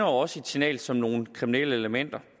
også et signal som nogle kriminelle elementer